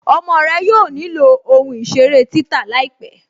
Ọmọ rẹ yóò ní ilọ̀ ohun-iṣèrè títà láípẹ̀.